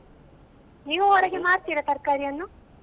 ನೀವು ಹೊರಗೆ ಮಾರ್ತೀರ ತರ್ಕಾರಿ ಅನ್ನು?